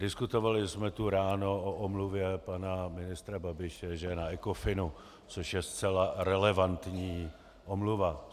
Diskutovali jsme tu ráno o omluvě pana ministra Babiše, že je na Ecofinu, což je zcela relevantní omluva.